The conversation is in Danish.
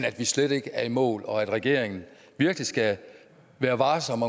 at vi slet ikke er i mål og at regeringen virkelig skal være varsom